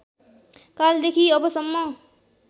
कालदेखि अबसम्म